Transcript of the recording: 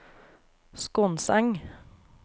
Skonseng